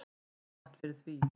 Jafngott fyrir því.